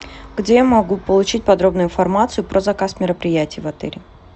где я могу получить подробную информацию про заказ мероприятий в отеле